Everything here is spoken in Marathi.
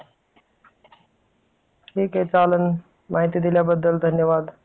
ठीक आहे चालल माहिती दिल्याबद्दल धन्यवाद.